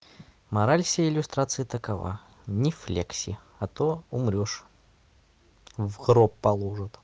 мораль всей иллюстрации такова не флекси а то умрёшь в гроб положат